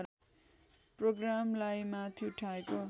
प्रोग्रामलाई माथि उठाएको